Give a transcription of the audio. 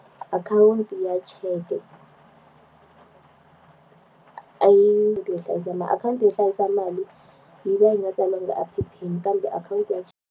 Akhawunti ya cheke a yi hlayisa mali akhawunti yo hlayisa, mali yi va yi nga tsariwangi laha ephepheni kambe akhawunti ya .